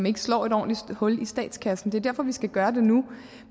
ikke slår et ordentligt hul i statskassen det er derfor vi skal gøre det nu